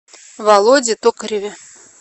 володе токареве